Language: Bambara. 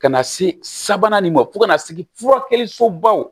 Ka na se sabanan nin ma fo ka na se furakɛlisobaw ma